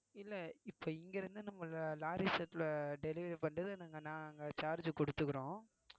இல்லை இப்ப இங்க இருந்து நம்ம lorry set ல delivery பண்ணறது நாங்க charge கொடுத்திருக்கிறோம்